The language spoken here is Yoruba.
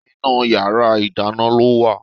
Inú yàrá ìdáná ló wà